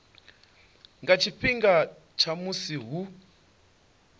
nga tshifhinga tsha musi hu